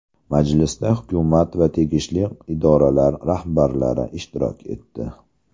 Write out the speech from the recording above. Majlisda hukumat va tegishli idoralar rahbarlari ishtirok etdi.